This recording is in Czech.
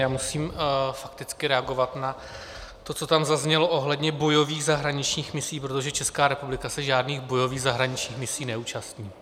Já musím fakticky reagovat na to, co tam zaznělo ohledně bojových zahraničních misí, protože Česká republika se žádných bojových zahraničních misí neúčastní.